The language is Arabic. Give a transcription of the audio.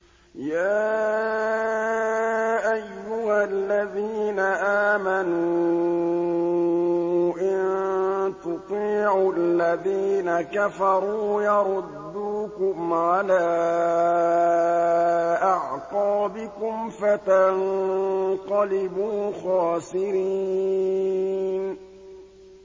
يَا أَيُّهَا الَّذِينَ آمَنُوا إِن تُطِيعُوا الَّذِينَ كَفَرُوا يَرُدُّوكُمْ عَلَىٰ أَعْقَابِكُمْ فَتَنقَلِبُوا خَاسِرِينَ